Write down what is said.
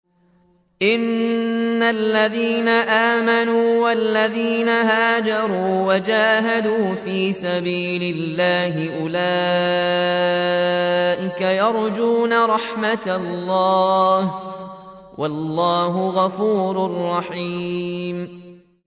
إِنَّ الَّذِينَ آمَنُوا وَالَّذِينَ هَاجَرُوا وَجَاهَدُوا فِي سَبِيلِ اللَّهِ أُولَٰئِكَ يَرْجُونَ رَحْمَتَ اللَّهِ ۚ وَاللَّهُ غَفُورٌ رَّحِيمٌ